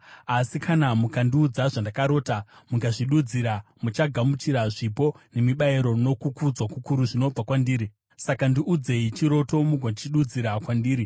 Asi kana mukandiudza zvandakarota mukazvidudzira, muchagamuchira zvipo nemibayiro nokukudzwa kukuru zvinobva kwandiri. Saka ndiudzei chiroto mugochidudzira kwandiri.”